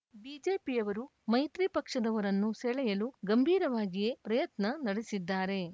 ಬಿಜೆಪಿಯವರು ಮೈತ್ರಿ ಪಕ್ಷದವರನ್ನು ಸೆಳೆಯಲು ಗಂಭೀರವಾಗಿಯೇ ಪ್ರಯತ್ನ ನಡೆಸಿದ್ದಾರೆ